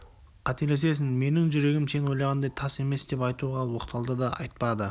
қателесесің менің жүрегім сен ойлағандай тас емес деп айтуға оқталды да айтпады